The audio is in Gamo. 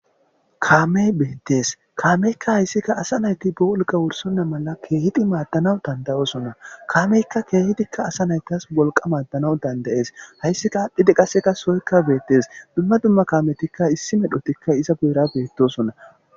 kaamey beettes kaameykka hayssikka asa nayti bo wolqa wursunna mala keehidi maaddanawu dandayosona kaameykka keehitikka asa naytas wolqa maaddanaw dandayees hayssika aadhdhide qasseka soykka beettes dumma dumma kaametikka issi medhotikka iza guira beettosona